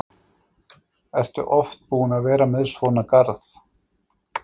Ertu oft búin að vera með svona garð?